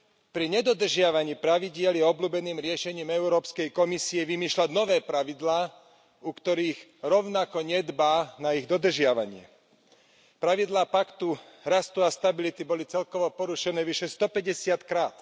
Pri nedodržiavaní pravidiel je obľúbeným riešením Európskej komisie vymýšľať nové pravidlá, u ktorých rovnako nedbá na ich dodržiavanie. Pravidlá Paktu rastu a stability boli celkovo porušené vyše 150 krát.